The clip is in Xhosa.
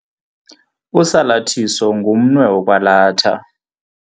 Usalathiso ngumnwe wokwalatha.